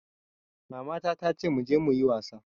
Mama na tace muje muyi wasa